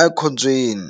a khombyeni.